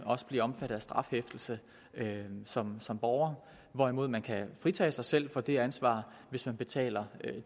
blive omfattet af strafansvar som som borger hvorimod man kan fritage sig selv for det ansvar hvis man betaler